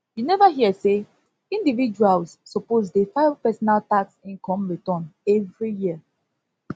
you neva hear sey individuals suppose dey file personal tax income return every year